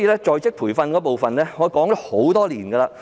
在職培訓方面，我已提出意見多年。